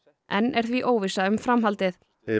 enn er því óvissa um framhaldið